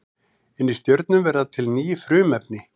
Inni í stjörnum verða til ný frumefni.